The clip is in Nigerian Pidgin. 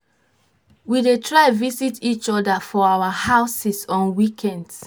we dey try visit each other for our houses on weekends